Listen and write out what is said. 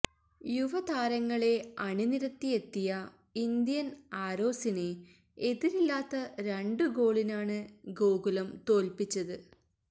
യുവതാരങ്ങളെ അണിനിരത്തിയെത്തിയ ഇന്ത്യന് ആരോസിനെ എതിരില്ലാത്ത രണ്ടു ഗോളിനാണ് ഗോകുലം തോല്പ്പിച്ചത്